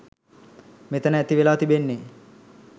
මෙතැන ඇති වෙලා තිබෙන්නේ